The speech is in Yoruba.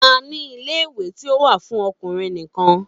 A ní ilé ìwé tí ó wà fún ọkùnrin nìkan.